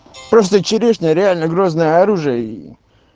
просто черешня реально грозное оружие ээ